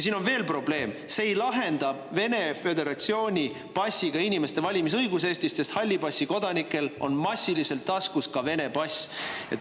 Siin on veel probleeme: see ei lahenda Vene föderatsiooni passiga inimeste valimisõiguse küsimust Eestis, sest hallipassikodanikel on massiliselt taskus ka Vene passid.